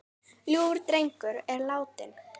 Ljúfur drengur er látinn.